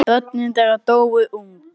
Börn þeirra dóu ung.